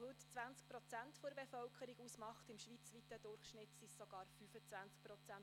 Sie macht heute 20 Prozent der Bevölkerung aus, im schweizweiten Durchschnitt sind es sogar 25 Prozent.